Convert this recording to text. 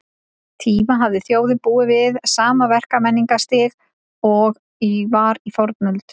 tíma hafi þjóðin búið við sama verkmenningarstig og var í fornöld.